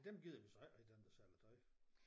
Dem gider vi så heller ikke dem der sælger tøj